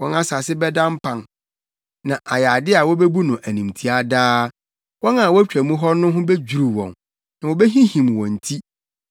Wɔn asase bɛda mpan, na ayɛ ade a wobebu no animtiaa daa; wɔn a wotwa mu hɔ no ho bedwiriw wɔn na wobehinhim wɔn ti.